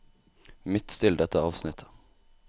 Midtstill dette avsnittet